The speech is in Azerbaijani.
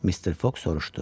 Mr. Foq soruşdu.